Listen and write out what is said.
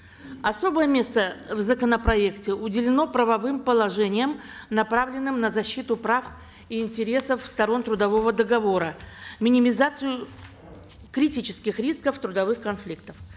особое место в законопроекте уделено правовым положениям направленным на защиту прав и интересов сторон трудового договора минимизацию критических рисков трудовых конфликтов